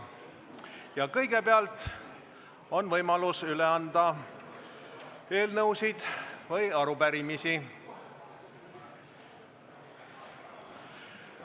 Ja kõigepealt on võimalus üle anda eelnõusid või arupärimisi.